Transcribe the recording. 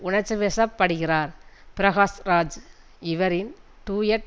உணர்ச்சி வசப்படுகிறார் பிரகாஷ்ராஜ் இவரின் டூயட்